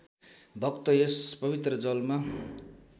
भक्त यस पवित्र जलमा